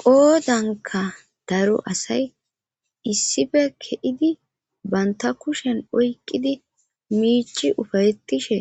qoodanka daro asay issippe ke'idi baynta kushen oykqidi miichi ufayettishe